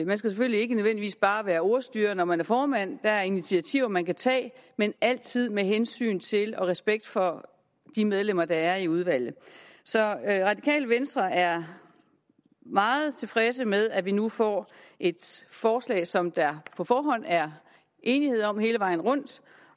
man skal selvfølgelig ikke nødvendigvis bare være ordstyrer når man er formand der er initiativer man kan tage men altid med hensyn til og respekt for de medlemmer der er i udvalget så radikale venstre er meget tilfredse med at vi nu får et forslag som der på forhånd er enighed om hele vejen rundt